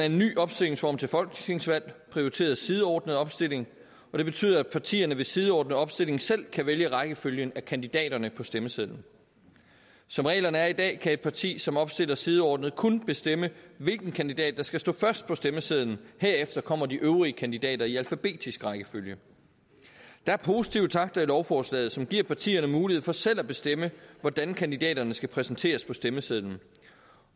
en ny opstillingsform til folketingsvalg prioriteret sideordnet opstilling og det betyder at partierne ved sideordnet opstilling selv kan vælge rækkefølgen af kandidaterne på stemmesedlen som reglerne er i dag kan et parti som opstiller sideordnet kun bestemme hvilken kandidat der skal stå først på stemmesedlen herefter kommer de øvrige kandidater i alfabetisk rækkefølge der er positive takter i lovforslaget som giver partierne mulighed for selv at bestemme hvordan kandidaterne skal præsenteres på stemmesedlen